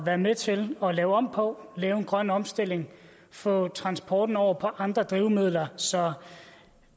være med til at lave om på lave en grøn omstilling og få transporten over på andre drivmidler så